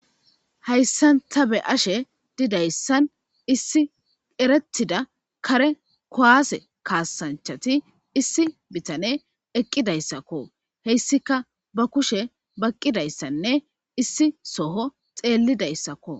Hayssanta be ashe didayssan issi erettida kare kowaase kaasanchati issi bitane eqqidayssakko heyssika ba kushe baqqidayssanne issi soho xeellidayssakko.